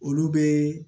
Olu bɛ